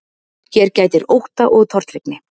Hér gætir ótta og tortryggni.